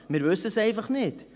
Wir wissen es einfach nicht.